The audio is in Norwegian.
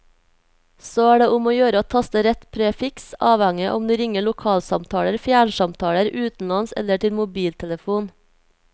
Så er det om å gjøre å taste rett prefiks, avhengig om du ringer lokalsamtaler, fjernsamtaler, utenlands eller til mobiltelfon.